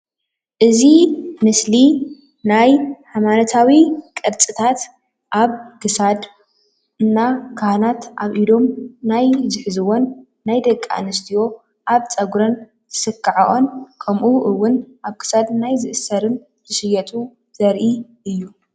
እዚ ምስሊ ናይ ሃይማኖታዊ ቅርፂታት አብ ክሳድ እና ካህናት አብ ኢዶም ናይ ዝሕዝዎን ናይ ደቂ አንስትዮ አብ ፀጉረን ዝስክዐኦን ከምኡ እውን አብ ክሳድ ናይ ዝእሰርን ዝሽየጡ ዘርኢ እዩ፡፡